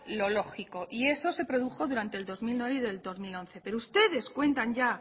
lo lógico y eso se produjo durante dos mil nueve y el dos mil once pero ustedes cuentan ya